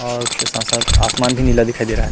और उसके साथ - साथ आसमान भी नीला दिखाई दे रहा ह--